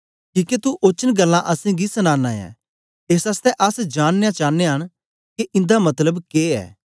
किके तू ओचन गल्लां असेंगी सनाना ऐ एस आसतै अस जाननयां चानयां न के इंदा मतलब के ऐ